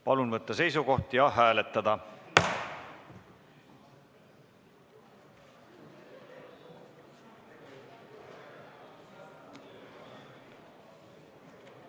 Palun võtta seisukoht ja hääletada!